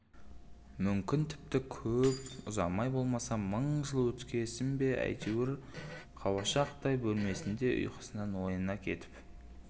мүмкін тіпті көп ұзамай болмаса мың жыл өткесін бе әйтеуір қауашақтай бөлмесінде ұйқысынан ояна кетіп